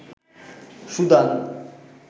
Sudan